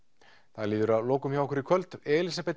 það líður að lokum hjá okkur í kvöld Elísabet